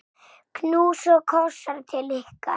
Knús og kossar til ykkar.